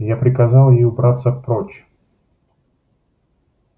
я приказал ей убраться прочь